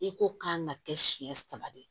I ko kan ka kɛ siɲɛ saba de